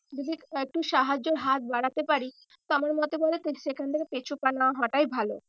যদি একটু সাহায্যের হাত বাড়াতে পারি তা আমার মতে বলে সেখান থেকে পিছু পা না হওয়াটাই ভালো।